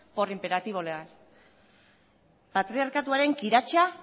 por imperativo legal patriarkatuaren kiratsa